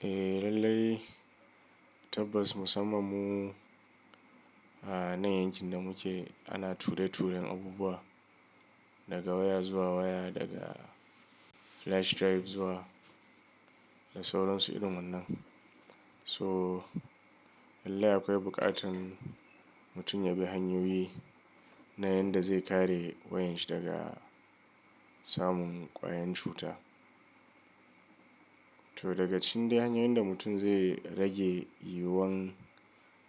Eh lallai tabbas musamman mu anan yankin da muke ana ture-turen abubuwa daga waya zuwa waya, daga flash drive zuwa da sauransu irin wannan. So lallai akwai buƙatan mutum yabi hanyoyi na yanda zai kare wayanshi daga samun ƙwayan cuta. To daga cikin dai hanyoyin da mutum zai rage yiwuwan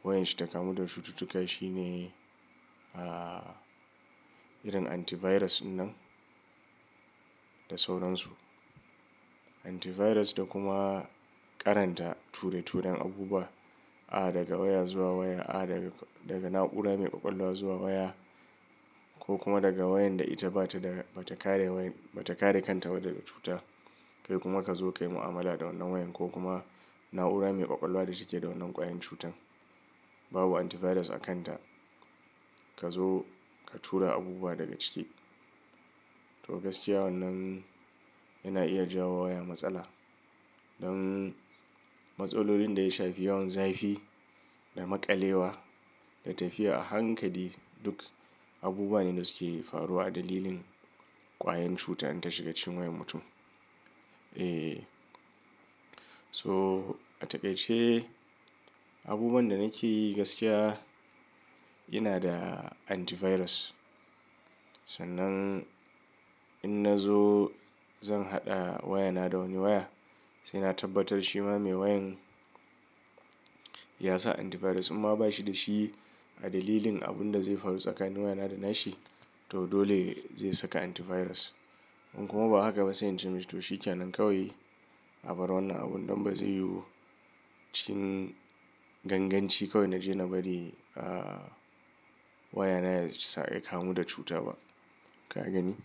wayanshi ta kamu da cututtuka shine, irin antivirus wannan da sauransu. Antivirus da kuma ƙaranta ture-turen abubuwa, a daga waya zuwa waya, a daga na'ura mai ƙwaƙwalwa zuwa waya ko kuma daga wayan da ita bata da, bata kare wayan, bata kare kanta daga cuta. Kai kuma ka zo ka yi mu'amala da wannan wayan ko kuma na'ura mai ƙwaƙwalwa da take da wannan ƙwayen cutan. Babu antivirus a kanta, ka zo ka tura abubuwa daga ciki. To gaskiya wannan yana iya jawowa waya matsala don matsalolin da ya shafi yawan zafi da maƙalewa da tafiya a hankali duk abubuwa ne da suke faruwa a dalilin ƙwayen cutar in ta shiga cikin wayan mutum. E, so a taƙaice abubuwan dana keyi gaskiya ina da antivirus sannan in nazo zan haɗa wayana da wani waya, sai na tabbatar shi ma mai wayan ya sa antivirus. In ma bashi da shi a dalilin abun da zai faru tsakanin wayana da nashi to dole zai saka antivirus. In kuma ba haka ba sai ince mi shi to shika nan kawai abar wannan abun don ba zai yiwu cikin ganganci kawai na je na bari, wayana ya samu ya kamu da cuta ba. Ka gani?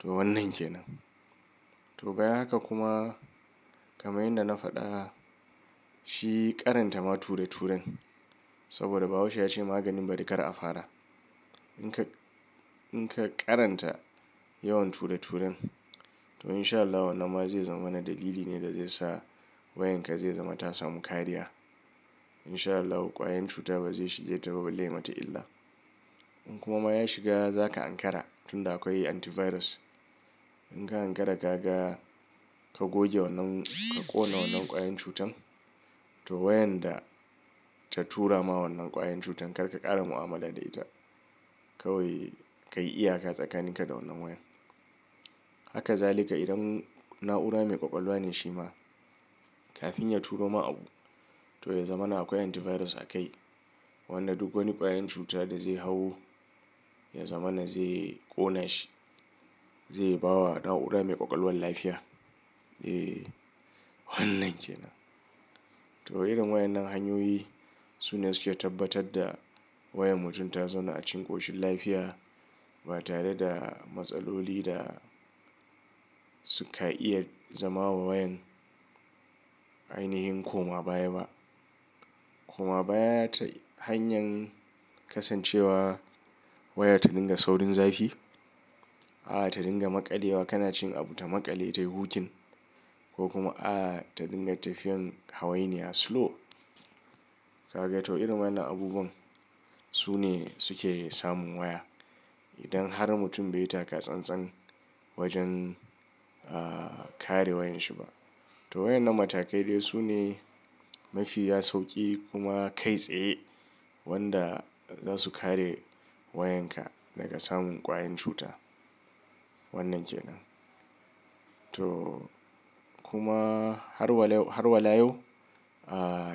To wannan ke nan. To bayan haka kuma kamar yadda na faɗa shi ƙaranta ma ture-turen saboda bahaushe ya ce maganin bari ƙara a fara. In ka, in ka ƙaranta yawan ture-turen to insha Allahu wannan ma zai zama wani dalili ne da zai sa wayanka zai zama ta samu kariya. Insha Allahu ƙwayan cuta ba zai shige ta ba balle yai mata illa. In kuma ya shiga za ka ankara tun da akwai antivirus. Inka ankara ka ga ka goge wannan, ka ƙona wannan ƙwayan cutan to wayan da ta tura ma wannan ƙwayen cutan karka ƙara mu'amala da ita kawai ka yi iyaka tsakaninka da wannan wayan. Hakazalika irin na'ura mai ƙwaƙwalwa ne shi ma kafin ya turo ma abu to ya zama na akwai antivirus a kai. Wannan duk wani ƙwayen cuta da zai hau ya zamana zai ƙona shi, zai bawa na'ura mai ƙwaƙwalwan lafiya. E, wannan ke nan. To irin wayan nan hanyoyi su ne suke tabbatar da wayan mutum ta zauna a cikin ƙoshin lafiya ba tare da matsaloli da suka iya zama wa wayan ainihin koma baya ba. Koma baya ta hanyar kasancewa waya ta dinga saurin zafi, a ta dinga maƙalewa kana cikin abu ta maƙale ta yi wukin ko kuma a ta dinga tafiyan hawainiya slow. Ka gani? To irin wayan na abubuwan su ne suke samun waya. Idan har mutum bai yi taka-tsan-tsan wajen, kare wayanshi ba to wayan nan matakai dai su ne mafiya sauƙi kuma kai tsaye wanda zasu kare wayanka daga samun ƙwayen cuta. Wannan ke nan. To kuma har walau, har wala yau,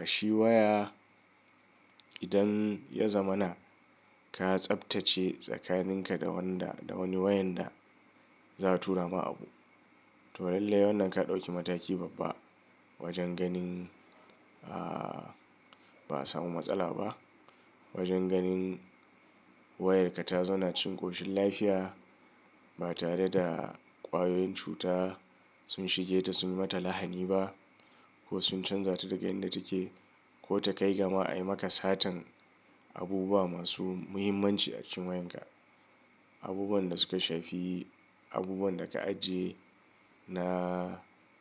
shi waya idan ya zama na ka tsaftace tsakaninka da wanda, da wani wayan da za'a tura ma abu to lallai wannan ka ɗauki mataki babba wajen ganin, ba a samu matsala ba. Wajen ganin wayarka ta zauna cikin ƙoshin lafiya ba tare da ƙwayoyin cuta sun shige ta sun yi mata lahani ba ko sun canza ta daga inda take ko ta kai ga ma a yi maka satar abubuwa masu muhimmanci a cikin wayanka. Abubuwan da suka shafi abubuwan da ka ajiye na.